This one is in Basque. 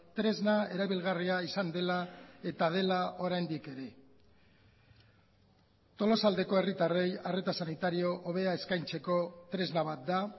tresna erabilgarria izan dela eta dela oraindik ere tolosaldeko herritarrei arreta sanitario hobea eskaintzeko tresna bat da